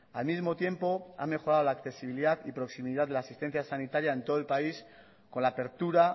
al mismo tiempo ha mejorado la accesibilidad y proximidad de la asistencia sanitaria en todo el país con la apertura